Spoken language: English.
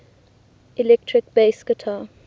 electric bass guitar